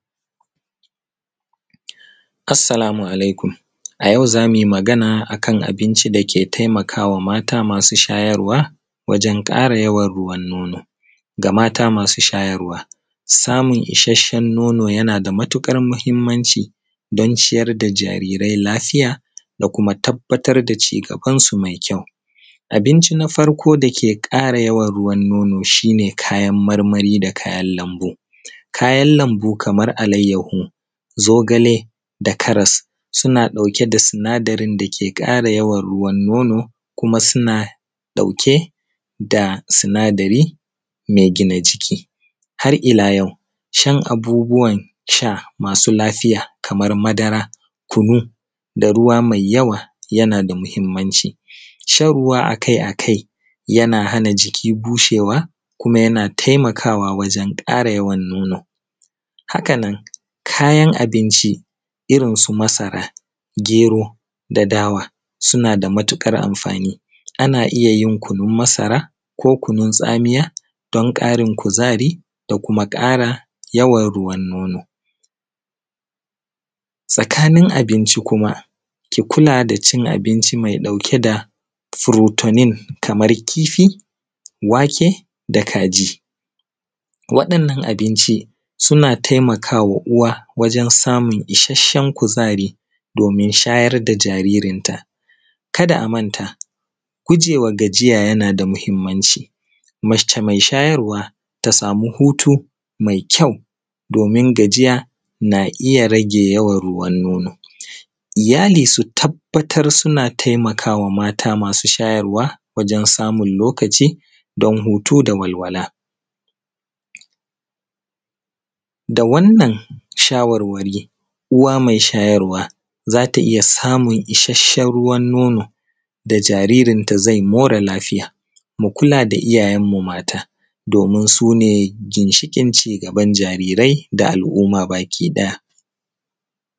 Assalamu alaikum, a yau zamu yi magana akan abinci dake taimakawa maata masu shayarwa wajen ƙara yawan ruwan nono ga maata masu shayarwaa. Samun ishasshen nono yanaa da matuƙar muhimmanci don ciyar da jarirai lafiya da kuma tabbatar da cigabansu mai kyau, abinci na farko dake ƙara yawan ruwan nono shi ne kayan marmari da kayan lambu, kayan lambu kamar alayyaho, zogale da karas suna ɗauke da sinadarin dake ƙara yawan ruwan nono kuma suna ɗauke da sinadari mai gina jiki. Har ila yau cin abubuwan sha masu lafiya kamar madara kunuu da ruwa mai yawa yana da muhimmanci, shan ruwa akai-akai yana hana jiki bushewa kuma yana taimakawa wajen ƙara yawan nono. Hakanan kayan abinci irin su masara gero da dawa suna da matuƙar amfaani ana iya yin kunun masara ko kunun tsamiya don ƙarin kuzari da kuma ƙara yawan ruwan nono. Tsakanin abinci kuma ki kulaa da cin abinci mai ɗauke da frotunin kamar kifi, wake da kajii, waɗannan abinci suna taimakawa uwa wajen samun ishasshen kuzari doomin shayar da jaaririnta. Kada a manta, gujewa gajiya yana da muhimmanci kuma mace mai shayarwa ta samu hutuu mai kyau doomin gajiya na iya rage yawan ruwan nono. Iyali su tabbatar suna taimakawa maata masu shayarwa wajen samun lokaci don hutu da walwaiaa. Da wannan shawarwari ko uwa mai shayarwa za ta iya samun ishassen ruwan nono da jaririnta zai more lafiya mu kulaa da iyayenmu maata doomin sune ginshiƙin cigaban jarirai da al’umma bakii ɗaya.